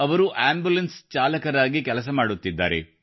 ಅವರು ಆಂಬುಲೆನ್ಸ್ ಚಾಲಕರಾಗಿ ಕೆಲಸ ಮಾಡುತ್ತಿದ್ದಾರೆ